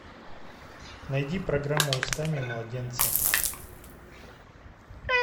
найди программу устами младенца